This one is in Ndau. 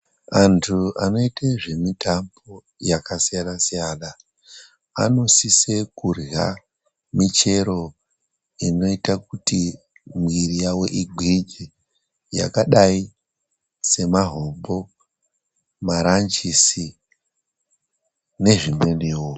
Antu anoite zvemitambo yakasiyana siyana, vanosisa kuryha michero inoita kuti mwiiri yavo igwinye, yakadai semahoko, maranjisi nezvimweniwo.